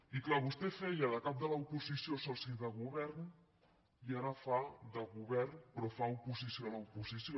i clar vostè feia de cap de l’oposició soci de govern i ara fa de govern però fa oposició a l’oposició